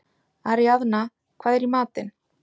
Aríaðna, hvað er í matinn?